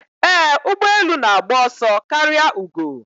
Ee, ụgbọ elu na-agba ọsọ karịa ugo.